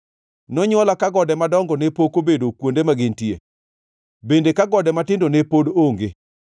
Nonywola ka gode madongo ne pok obedo kuonde ma gintie, bende ka gode matindo ne pod onge,